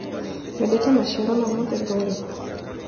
Wendete maciaro ma mũthemba ũrĩkũ.